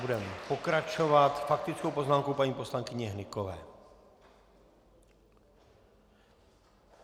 Budeme pokračovat faktickou poznámkou paní poslankyně Hnykové.